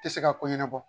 Tɛ se ka ko ɲɛnɛbɔ